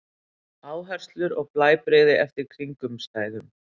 Áherslur og blæbrigði eftir kringumstæðum.